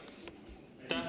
Aitäh!